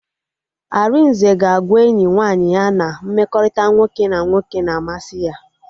Arinze ga-agwa enyi nwaanyị ya na mmekọrịta nwoke na nwoke na-amasị ya